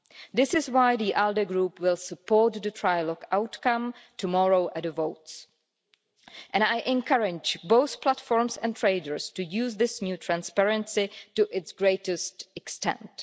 This is why the ALDE Group will support the trilogue outcome tomorrow at the votes, and I encourage both platforms and traders to use this new transparency to its greatest extent.